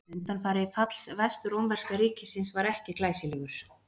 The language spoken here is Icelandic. Undanfari falls vestrómverska ríkisins var ekki glæsilegur.